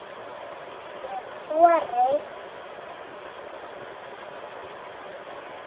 Ef ég þori.